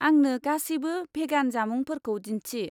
आंनो गासैबो भेगान जामुंफोरखौ दिन्थि।